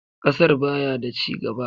Kasar baya da cigaba.